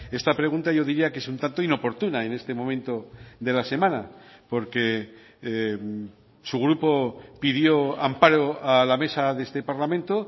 esta pregunta yo diría que es un tanto inoportuna en este momento de la semana porque su grupo pidió amparo a la mesa de este parlamento